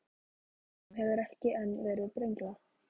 Þeim hefur ekki enn verið brenglað.